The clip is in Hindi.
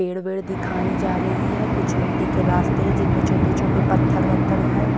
पेड़ वेड दिखाई जा रही है कुछ मिट्टी के रास्ते जिनमें छोटे छोटे पत्थर वत्थर है।